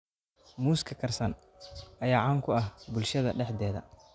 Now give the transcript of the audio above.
Muuska karsan ayaa caan ku ah bulshada dhexdeeda